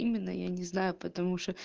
именно я не знаю потому что